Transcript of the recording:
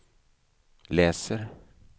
läser